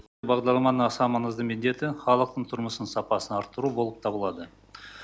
бағдарламаның аса маңызды міндеті халықтың тұрмыс сапасын арттыру болып табылады